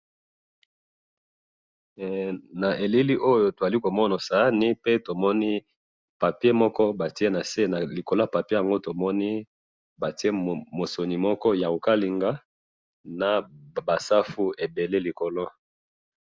hee na elili oyo tozali komona sahani pe tomoni papier batiye nase na likolo yango tomoni batiye mosuni moko ya kokalinga naba safu ebele likolo.